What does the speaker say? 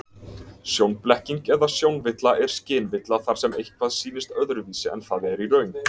Sjónblekking eða sjónvilla er skynvilla þar sem eitthvað sýnist öðruvísi en það er í raun.